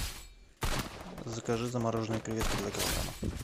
закажи замороженные креветки два килограмма